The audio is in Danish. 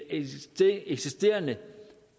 eksisterende